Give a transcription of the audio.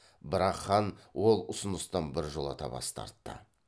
бірақ хан ол ұсыныстан біржолата бас тартты